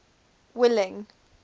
willing